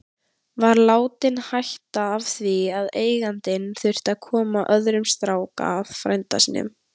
Var látinn hætta af því að eigandinn þurfti að koma öðrum strák að, frænda sínum.